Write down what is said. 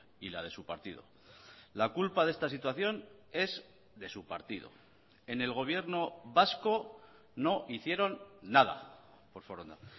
y la de su partido la culpa de esta situación es de su partido en el gobierno vasco no hicieron nada por foronda